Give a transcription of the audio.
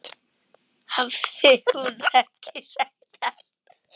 Hafði hún ekki sagt allt?